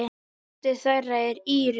Dóttir þeirra er Íris.